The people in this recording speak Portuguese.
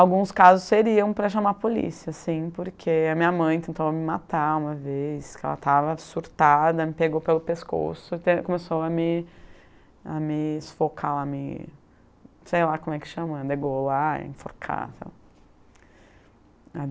Alguns casos seriam para chamar a polícia, assim, porque a minha mãe tentou me matar uma vez, que ela estava surtada, me pegou pelo pescoço e começou a me a me enforcar, a me sei lá como é que chama, degolar, enforcar, sei lá.